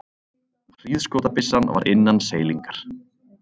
Hríðskotabyssan var innan seilingar.